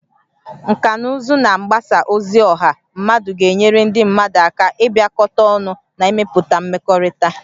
Nkà na ụzụ na mgbasa ozi ọha mmadụ ga-enyere ndị mmadụ aka ịbịakọta ọnụ na ịmepụta mmekọrịta